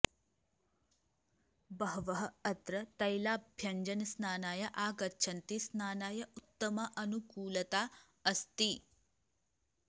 बहवः अत्र तैलाभ्यञ्जनस्नानाय आगच्छन्ति स्नानाय उत्तमा अनुकूलता अस्ति